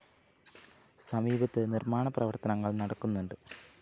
സമീപത്ത് നിര്‍മ്മാണ പ്രവര്‍ത്തനങ്ങള്‍ നടക്കുന്നുണ്ട്